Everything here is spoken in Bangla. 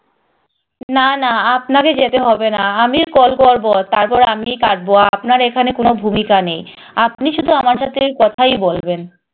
না না আপনারে যেতে হবে না আমি call করবো তারপর আমিই কাটবো আপনার এখানে কোনো ভূমিকা নেই আপনি শুধু আমার সাথে কথাই বলবেন